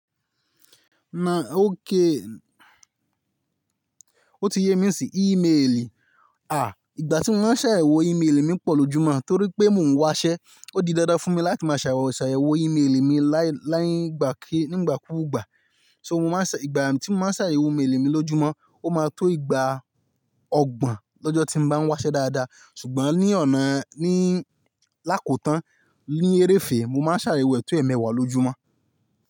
Na okay, ó ti yé mi nisiyi íméèlì. À, ìgbà tí mo máa ń ṣàyẹ̀wò íméèlì mi pọ̀ lójúmọ́ torí pé mò ń wásẹ́. Ó di dáadáa fún mi láti máa ṣàwèwò ṣàwèwò íméèlì mi láì láì gbà kí nígbà kúù gbà. So mo máa ń ṣà-- ìgbà tí mo máa ń ṣàwèwò íméèlì mi lójúmọ́, ó máa tó ìgbà ọgbọ̀n lọ́jọ́ tí mo bá ń wásẹ́ dáadáa. Ṣùgbọ́n ní ọ̀nà níì lákòótán ní eré fèè, mo máa ń ṣàwèwò ètò ẹ̀ mẹ́wàá lójúmọ́.